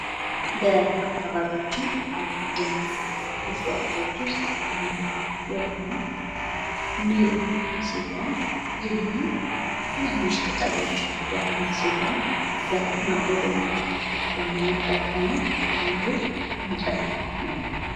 በአካባቢያችን ከሚገኙ እጽዋቶች ውስጥ አንዱ የሆነው ሊም ሲሆን ይህ ሊም ትናንሽ ቅጠሎች ያሉት ሲሆን ለማገዶነት የምንጠቀመው አንዱ እንጨት ነው።